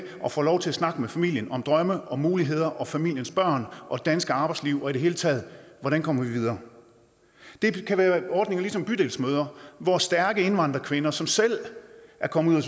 og får lov til at snakke med familien om drømme og muligheder og familiens børn og dansk arbejdsliv og i det hele taget hvordan kommer vi videre det kan være ordninger som bydelsmødre hvor stærke indvandrerkvinder som selv er kommet